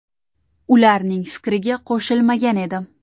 Ularning fikriga qo‘shilmagan edim.